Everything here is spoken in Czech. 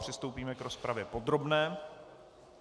Přistoupíme k rozpravě podrobné.